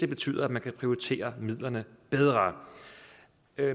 betyder at man kan prioritere midlerne bedre